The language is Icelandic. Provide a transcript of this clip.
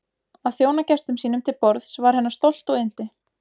Að þjóna gestum sínum til borðs var hennar stolt og yndi.